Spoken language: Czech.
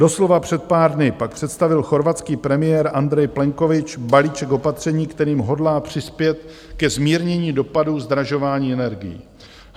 Doslova před pár dny pak představil chorvatský premiér Andrej Plenković balíček opatření, kterým hodlá přispět ke zmírnění dopadů zdražování energií.